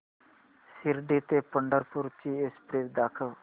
शिर्डी ते पंढरपूर ची एक्स्प्रेस दाखव